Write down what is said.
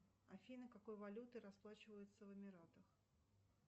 афина какой валютой расплачиваются в эмиратах